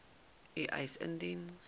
u eis indien